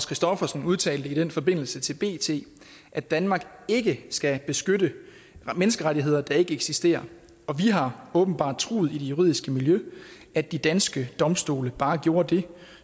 christoffersen udtalte i den forbindelse til bt at danmark ikke skal beskytte menneskerettigheder der ikke eksisterer og vi har åbenbart troet i det juridiske miljø at de danske domstole bare gjorde det